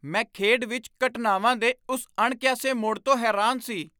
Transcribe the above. ਮੈਂ ਖੇਡ ਵਿੱਚ ਘਟਨਾਵਾਂ ਦੇ ਉਸ ਅਣਕਿਆਸੇ ਮੋਡ਼ ਤੋਂ ਹੈਰਾਨ ਸੀ।